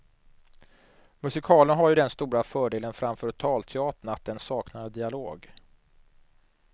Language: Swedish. Musikalen har ju den stora fördelen framför talteatern att den saknar dialog.